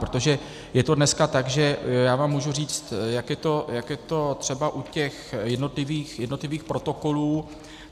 Protože je to dneska tak, že já vám můžu říct, jak je to třeba u těch jednotlivých protokolů.